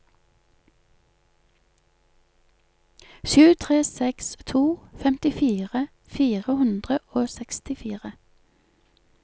sju tre seks to femtifire fire hundre og sekstifire